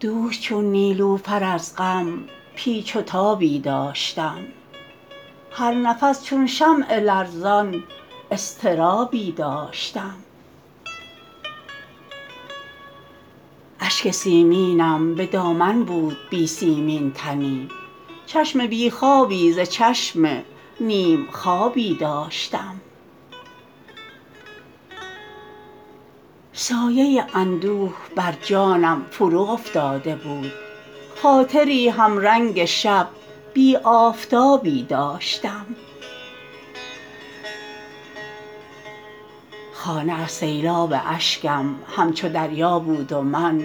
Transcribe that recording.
دوش چون نیلوفر از غم پیچ و تابی داشتم هر نفس چون شمع لرزان اضطرابی داشتم اشک سیمینم به دامن بود بی سیمین تنی چشم بی خوابی ز چشم نیم خوابی داشتم سایه اندوه بر جانم فرو افتاده بود خاطری هم رنگ شب بی آفتابی داشتم خانه از سیلاب اشکم همچو دریا بود و من